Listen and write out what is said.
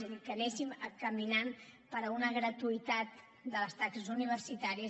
és a dir que anéssim caminant per a una gratuïtat de les taxes universitàries